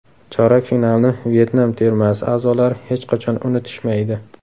Chorak finalni Vyetnam termasi a’zolari hech qachon unutishmaydi.